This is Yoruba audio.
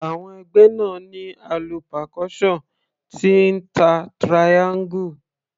Àwọn ẹgbẹ́ náà ní alu percussion tí ń ta triangle.